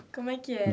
Como é que era?